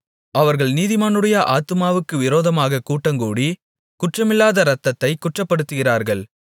அவர்கள் நீதிமானுடைய ஆத்துமாவுக்கு விரோதமாகக் கூட்டங்கூடி குற்றமில்லாத இரத்தத்தைக் குற்றப்படுத்துகிறார்கள்